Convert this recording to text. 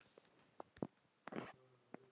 Við erum á lifandi landi.